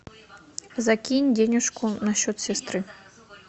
закинь денежку на счет сестры